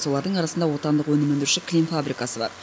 солардың арасында отандық өнім өндіруші кілем фабрикасы бар